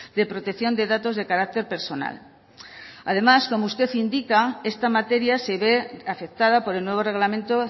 de protección de datos de carácter personal además como usted indica esta materia se ve afectada por el nuevo reglamento